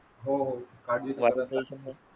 हो हो काळजी